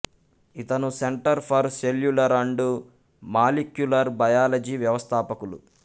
ఇతను Centre for Cellular and Molecular Biology వ్యవస్థాపకులు